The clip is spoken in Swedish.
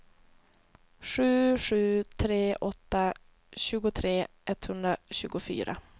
sju sju tre åtta tjugotre etthundratjugofyra